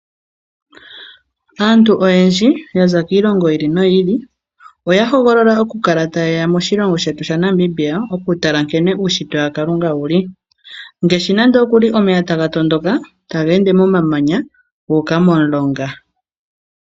Aantu oyendji ya za kiilongo yi ili noyi ili oya hogolola okukala taye ya moshilongo shetu shaNamibia okutala nkene uunshitwe waKalunga wu li ngaashi nando omeya taga tondoka taga ende momamanya gu uka momulonga.